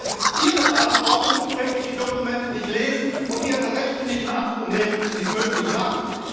Aber es ist Ihre Verantwortung, wenn Sie die Dokumente nicht lesen und Ihre Rechte nicht in Anspruch nehmen, die es möglich machen.